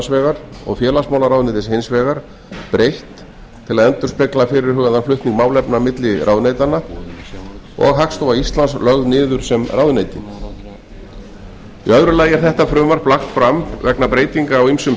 vegar og félagsmálaráðuneytis hins vegar breytt til að endurspegla fyrirhugaðan flutning málefna á milli ráðuneytanna og hagstofa íslands lögð niður sem ráðuneyti í öðru lagi er þetta frumvarp lagt fram vegna breytinga á ýmsum